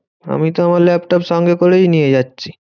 আমিতো আমার ল্যাপটপ সঙ্গে করেই নিয়ে যাচ্ছি।